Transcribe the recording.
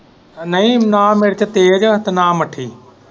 ਨਹੀਂ ਨਾ ਮੇਰੇ ਚ ਤੇਜ ਹੈ ਤੇ ਨਾ ਮੱਠੀ।